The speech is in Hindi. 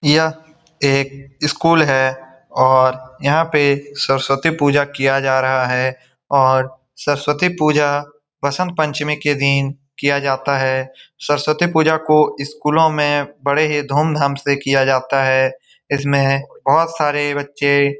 यह एक स्कूल है और यहाँ पे सरस्वती पूजा किया जा रहा है और सरस्वती पूजा वसंत पंचमी के दिन किया जाता है सरस्वती पूजा को स्कूलों में बड़े धूमधाम से किया जाता है इसमें बहुत सारे बच्चे --